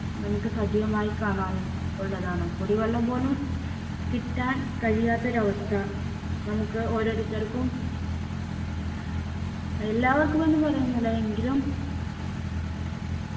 നമുക്ക് സജീവമായി കാണാനും ഉള്ളതാണ് കുടിവെള്ളം പോലും കിട്ടാൻ കഴിയാത്തൊരവസ്ഥ നമുക്ക് ഓരോരുത്തർക്കും എല്ലാവർക്കും എന്ന് പറയുന്നില്ല എങ്കിലും